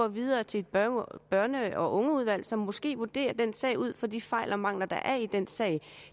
videre til et børn og unge udvalg som måske vurderer den sag ud fra de fejl og mangler der er i den sag og